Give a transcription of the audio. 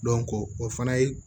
o fana ye